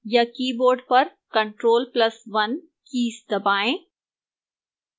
या keyboard पर ctrl + 1 कीज़ दबाएं